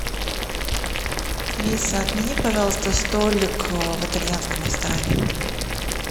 алиса отмени пожалуйста столик в итальянском ресторане